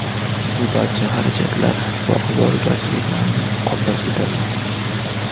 Bu barcha xarajatlar va ovoragarchiliklarni qoplab ketadi.